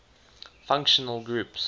functional groups